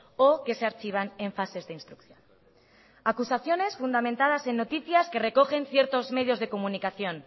o que se archivan en fases de instrucción acusaciones fundamentadas en noticias que recogen ciertos medios de comunicación